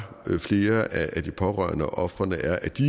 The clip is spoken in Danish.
flere af de pårørende og ofrene er at de